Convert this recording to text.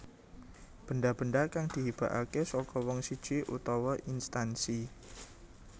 Benda benda kang dihibahake saka wong siji utawa instansi